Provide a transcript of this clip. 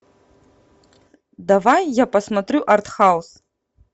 давай я посмотрю артхаус